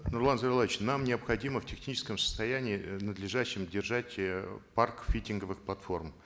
нурлан зайроллаевич нам необходимо в техническом состоянии э надлежащем держать э парк фитинговых платформ